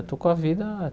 Eu estou com a vida.